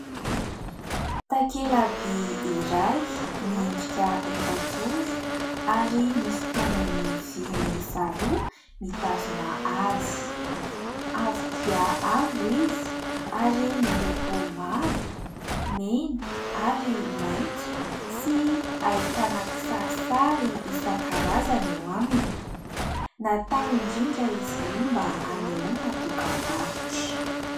Takelaby iray miendrika efajoro ary misy tongony vy miisa roa mitazona azy. Avo dia avo izy ary miloko mavo, mena ary maitso, sy ahitana kisarisary isan-karazany eo aminy. Natao indrindra izy io mba hanehoana dokam-barotra.